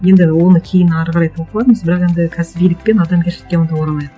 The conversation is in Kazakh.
енді оны кейін әрі қарай талқылармыз бірақ енді қазір билік пен адамгершілікке онда оралайық